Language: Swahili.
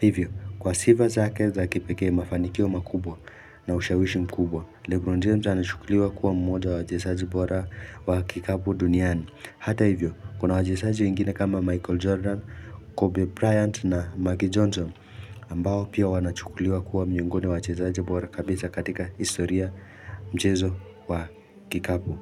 Hivyo, kwa sifa zake za kipekee, mafanikio makubwa na ushawishi mkubwa, Lebron James anachukuliwa kuwa mmoja wa wachezaji bora wa kikapu duniani. Hata hivyo, kuna wachezaji wengine kama Michael Jordan, Kobe Bryant na Maggie Johnson ambao pia wanachukuliwa kuwa miongoni wa wachezaji bora kabisa katika historia mchezo wa kikapu.